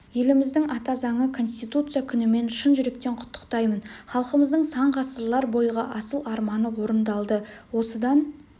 еліміздің ата заңы конституция күнімен шын жүректен құттықтаймын халқымыздың сан ғасырлар бойғы асыл арманы орындалды осыдан